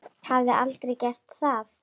Hafði aldrei gert það.